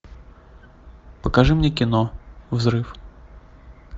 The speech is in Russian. покажи мне кино взрыв